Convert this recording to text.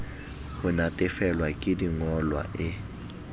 ho natefelwa ke dingolwa e